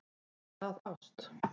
Er það ást?